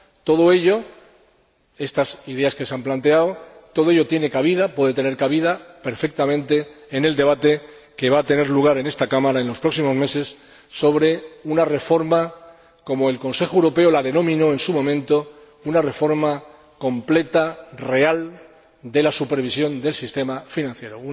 Todo ello, estas ideas que se han planteado, todo ello tiene cabida, puede tener cabida perfectamente en el debate que va a tener lugar en esta Cámara en los próximos meses sobre una reforma, como el Consejo Europeo la denominó en su momento, una reforma completa y real de la supervisión del sistema financiero.